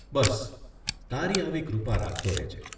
બસ, તારી આવી કૃપા રાખતો રહેજે.